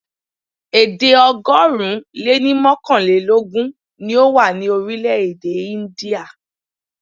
Èdè ọgọ́rùn-ún lé ní mọ́kànlélógún ni ó wà ní orílẹ̀-èdè India.